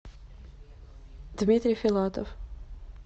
дмитрий филатов